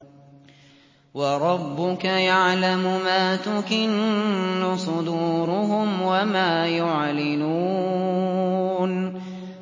وَرَبُّكَ يَعْلَمُ مَا تُكِنُّ صُدُورُهُمْ وَمَا يُعْلِنُونَ